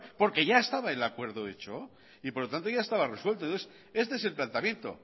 porque ya estaba el acuerdo hecho y por lo tanto ya estaba resuelto entonces este es el planteamiento